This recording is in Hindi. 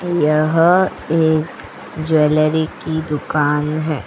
यह एक ज्वेलरी की दुकान है.